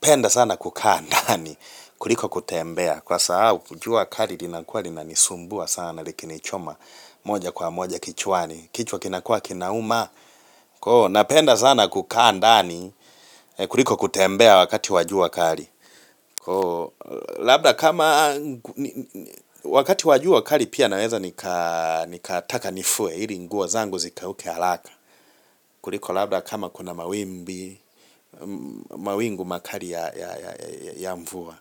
penda sana kukaa ndani, kuliko kutembea. Kwa sababu, likiwa kali, linakua, linanisumbua sana, likinichoma, moja kwa moja kichwani. Kichwa kinakua, kinauma. Koo, napenda sana kukaa ndani, kuliko kutembea wakati wa jua kali. Labda kama, wakati wa jua kali, pia naweza nikataka nifue, ili nguo zangu zikauke haraka. Kuliko labda kama kuna mawimbi, mawingu makali ya mvua.